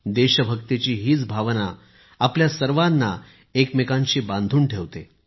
देशभक्तीची हीच भावना आपल्या सर्वांना एकमेकांशी बांधून ठेवते